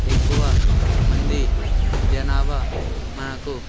ఎక్కువ మంది జనభా మనకు.